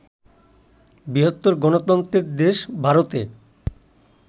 বৃহত্তর গণতন্ত্রের দেশ ভারতে